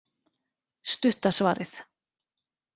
Stutta svarið